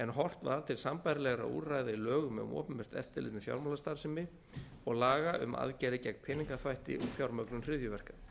horft var til sambærilegra úrræða í lögum um opinbert eftirlit með fjármálastarfsemi og laga um aðgerðir gegn peningaþvætti og fjármögnun hryðjuverka